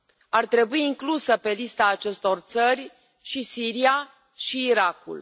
Ar trebui incluse pe lista acestor țări și Siria și Irakul.